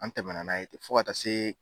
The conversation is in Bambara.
An tɛmɛna n'a ye ten fo ka taa se